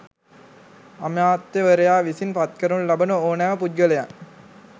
අමාත්‍යවරයා විසින් පත්කරනු ලබන ඕනෑම පුද්ගලයන්